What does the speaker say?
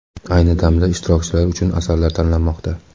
Ayni damda ishtirokchilar uchun asarlar tanlanmoqda.